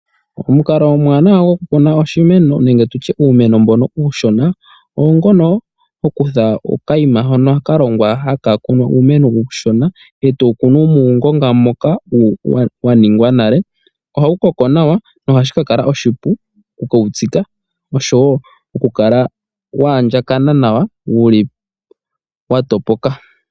Omukalo omuwanawa gokukuna oshimeno nenge nditye uumeno mbono uushona oongono hokutha okayima hono ka longwa haka kunu uumeno uushona, etowu kunu muungonga moka wa ningwa nale. Ohawu koko nawa nohashi ka kala oshipu okuwu tsika oshowo okukala waandjakana nawa wuli wa topoka .